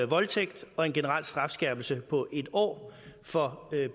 voldtægt og en generel strafskærpelse på en år for